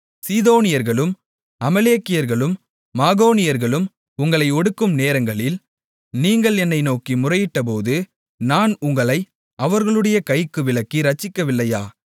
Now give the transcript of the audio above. சீதோனியர்களும் அமலேக்கியர்களும் மாகோனியர்களும் உங்களை ஒடுக்கும் நேரங்களில் நீங்கள் என்னை நோக்கி முறையிட்டபோது நான் உங்களை அவர்களுடைய கைக்கு விலக்கி இரட்சிக்கவில்லையா